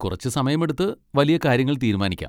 കുറച്ച് സമയമെടുത്ത് വലിയ കാര്യങ്ങൾ തീരുമാനിക്കാം.